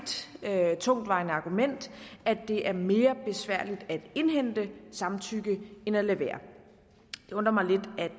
tungtvejende argument at det er mere besværligt at indhente samtykke end at lade være